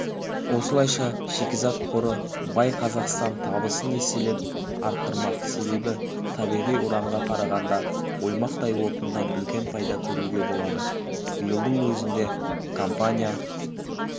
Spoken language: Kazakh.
осылайша шикізат қоры бай қазақстан табысын еселеп арттырмақ себебі табиғи уранға қарағанда оймақтай отыннан үлкен пайда көруге болады биылдың өзінде компания